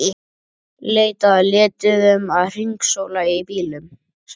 Leitað að lituðum að hringsóla um í bílum.